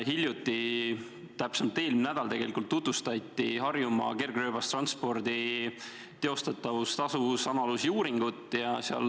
Hiljuti, täpsemalt eelmine nädal tutvustati Harjumaa kergrööbastranspordi teostatavuse ja tasuvuse analüüsi tulemusi.